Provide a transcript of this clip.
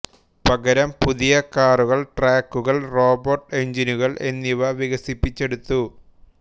പകരം പുതിയ കാറുകൾ ട്രാക്കുകൾ റോബോട്ട് എഞ്ചിനുകൾ എന്നിവ വികസിപ്പിച്ചെടുത്തു